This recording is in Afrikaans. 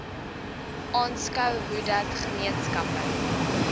aanskou hoedat gemeenskappe